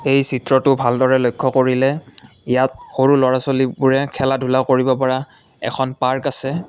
এই চিত্ৰটো ভালদৰে লক্ষ্য কৰিলে ইয়াত সৰু ল'ৰা ছোৱালীবোৰে খেলা ধূলা কৰিব পৰা এখন পাৰ্ক আছে।